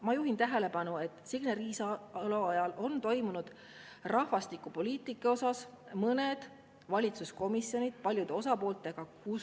Ma juhin tähelepanu, et Signe Riisalo ajal on toimunud rahvastikupoliitikas mõned valitsuskomisjoni paljude osapooltega.